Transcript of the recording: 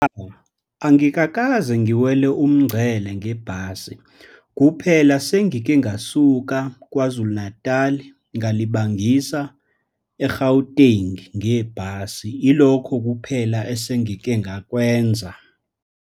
Angikakaze ngiwele umngcele ngebhasi. Kuphela sengike ngasuka KwaZulu Natal ngalibangisa e-Gauteng ngebhasi. Ilokho kuphela esengike ngakwenza.